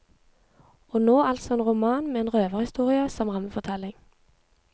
Og nå altså en roman med en røverhistorie som rammefortelling.